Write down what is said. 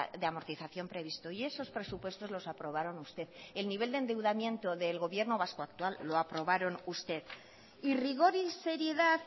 de amortización previsto y esos presupuestos los aprobaron ustedes el nivel de endeudamiento del gobierno vasco actual lo aprobaron ustedes y rigor y seriedad